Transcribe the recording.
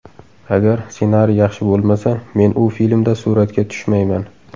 Agar ssenariy yaxshi bo‘lmasa, men u filmda suratga tushmayman.